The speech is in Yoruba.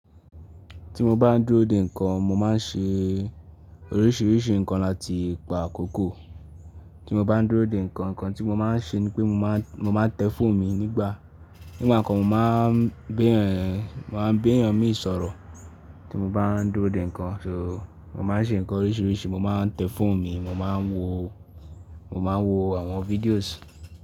Tí mo bá ń dúró de nǹkan, mo máa ń ṣe oríṣìíríṣìí nǹkan láti pa àkókò. Tí mo bá ń dúró de nǹkan, nǹkan tí mo máa ń ṣe ni pé mo máa ń, mo máa ń tẹ fóònù mi nígbà. Nígbà kan mo máa ń gbẹ́yàn, máa ń gbẹ́yàn mi ìsọ̀rọ̀ tí mo bá ń dúró de nǹkan. So, mo máa ń ṣe nǹkan oríṣìíríṣìí, mo máa ń tẹ fóònù mi, mo máa ń wo, mo máa ń wo àwọn videos.